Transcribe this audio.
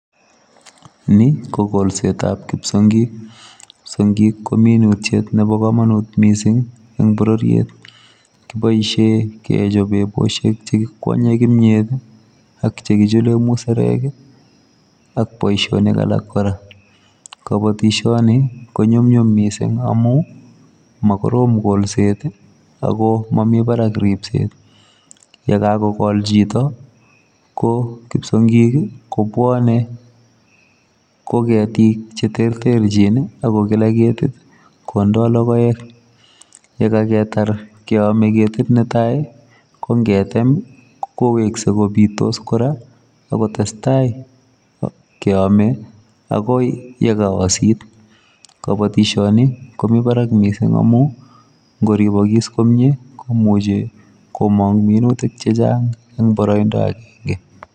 Ni ii ko kolset ab psiongiik , psiongiik ko minutiet nebo kamanut en borororiet ii , kibaisheen kechape busheek che kikwanyen kimyeet ii ak chekichuleen musarek ii ak boisionik alaak kora, kabatishanii ko nyumnyum missing amuun magorom kolsett ii ako mamii Barak ripset, ye kagogol chitoo ko psiongiik ii ko bwane ko ketiik che terterjiin ak ko lelagiit ye yame ketiit ne tai ii ko ngeteem koweksei kobitos kora ak kotesetai kiamei akoi ye kaosiit , kabatisyani ko Mii barak missing amuun ingoripokas komie komujii komaang minutiik che chaang en baraindaa agenge.